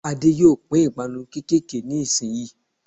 Adé yóò pín 'ìpanu kékèké' ní ìsin yìí